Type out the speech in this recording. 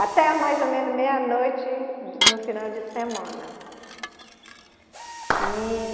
Até mais ou menos meia-noite no final de semana. E